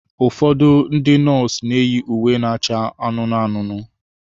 Ụfọdụ ndị nọọsụ na-eyi uwe na-acha anụnụ anụnụ.